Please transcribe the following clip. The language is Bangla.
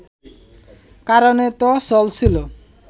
কারণেই তো চলছিল